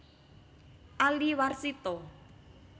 Ali Warsito